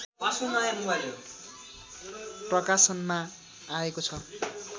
प्रकाशनमा आएको छ